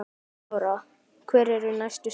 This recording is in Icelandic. Lára: Hver eru næstu skerf?